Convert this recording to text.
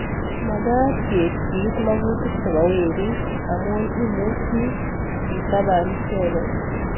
Makaat keebchi iit makutik chebo werik amu imuchi ketabaan icheket